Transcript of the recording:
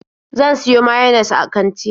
Zan siyo mayines a kanti.